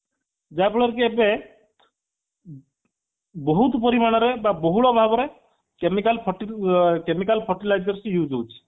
ଯାହା ଫଳରେ କି ଏବେ ବହୁତ ପରିମାଣରେ ବା ବହୁତ ଭାବରେ chemical ferti chemical fertilizer use ହଉଛି